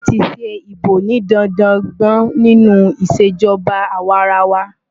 Wọ́n ti ṣe ìbò ní dandan gbọ̀n nínú ìṣèjọba àwarawa.